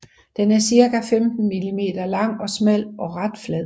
Den er cirka 15 millimeter lang og smal og ret flad